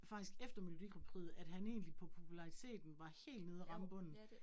Faktisk efter Melodi Grand Prixet, at han egentlig på populariteten var helt nede at ramme bunden